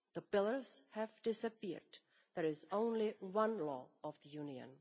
The pillars have disappeared, there is only one law of the Union.